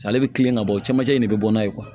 Ale bɛ kilen ka bɔ camancɛ in de bɛ bɔ n'a ye